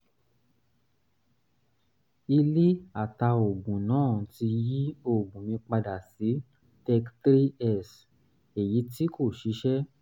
ilé atàoògùn náà ti yí oògùn mi padà sí thirty three x èyí tí kò ṣiṣẹ́